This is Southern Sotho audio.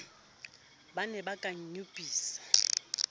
ba ne ba ka nyopisa